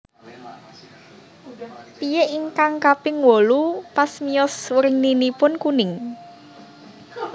Piyik ingkang kaping wolu pas miyos werninipun kuning